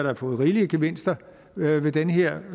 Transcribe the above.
har fået rigelige gevinster ved den her